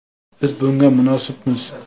Biz bunga munosibmiz.